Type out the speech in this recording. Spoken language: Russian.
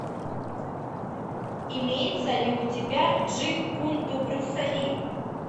имеется ли у тебя джит кун до брюса ли